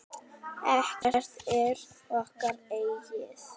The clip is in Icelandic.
Ekkert er okkar eigið.